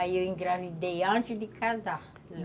Aí eu engravidei antes de casar.